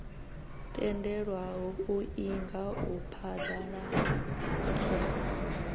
tendelwaho u inga u phaḓaladza